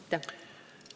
Aitäh!